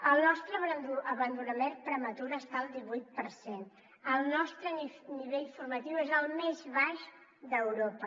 el nostre abandonament prematur està al divuit per cent el nostre nivell formatiu és el més baix d’europa